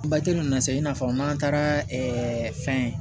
ninnu na se i n'a fɔ n'an taara fɛn